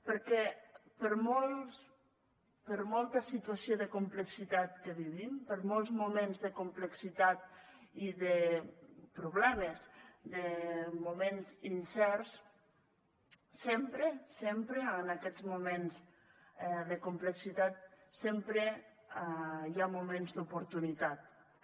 perquè per molta situació de complexitat que vivim per molts moments de complexitat i de problemes de moments incerts sempre sempre en aquests moments de complexitat sempre hi ha moments d’oportunitat també